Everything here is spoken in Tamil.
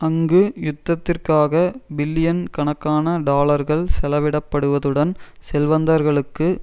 அங்கு யுத்தத்திற்காக பில்லியன் கணக்கான டாலர்கள் செலவிடப்படுவதுடன் செல்வந்தர்களுக்கு